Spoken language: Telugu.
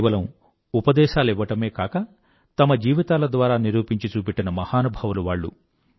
కేవలo ఉపదేశాలివ్వడమే కాక తమ జీవితాల ద్వారా నిరూపించి చూపెట్టిన మహానుభావులు వాళ్ళు